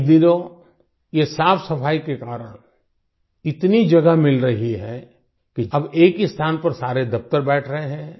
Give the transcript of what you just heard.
इन दिनों ये साफसफाई के कारण इतनी जगह मिल रही है कि अब एक ही स्थान पर सारे दफ्तर बैठ रहें हैं